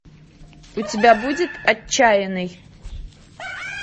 у тебя будет отчаянный